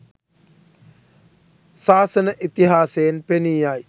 ශාසන ඉතිහාසයෙන් පෙනී යයි.